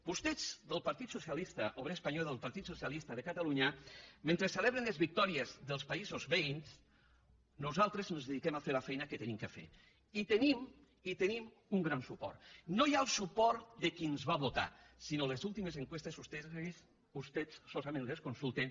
vostès del partit socialista obrer espanyol i del partit socialista de catalunya mentre celebren les victòries dels països veïns nosaltres nos dediquem a fer la feina que hem de fer i tenim i el tenim un gran suport no ja el suport de qui ens va votar sinó les últimes enquestes vostès solament les consulten